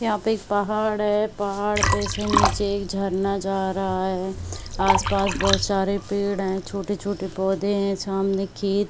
यहाँ पे एक पहाड़ है पहाड़ पे से नीचे एक झरना जा रहा है आस-पास बहुत सारे पेड़ है छोटे-छोटे पौधे है सामने खे--